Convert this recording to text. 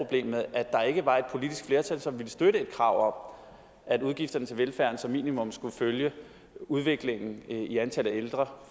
at der ikke var et politisk flertal som ville støtte et krav om at udgifterne til velfærden som minimum skulle følge udviklingen i antallet af ældre